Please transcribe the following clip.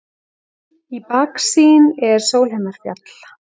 Í baksýn er Sólheimafjall.